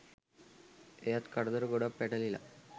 එයාත් කරදර ගොඩක් පැටලිලා